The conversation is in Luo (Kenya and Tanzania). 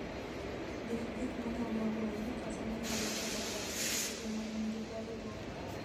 Ndik gik manyalo hoyi kata manyalo galo pachi e seche ma in gi parruok.